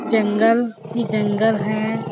जंगल ही जंगल है। .